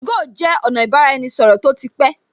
2go jẹ́ ọ̀nà ibaraenisoro tó ti pé